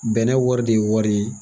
Bɛnɛ wari de ye wari ye.